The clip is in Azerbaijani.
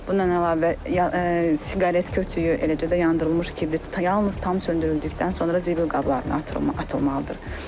Bundan əlavə siqaret kötüklüyü, eləcə də yandırılmış kibrit yalnız tam söndürüldükdən sonra zibil qablarına atılmalıdır.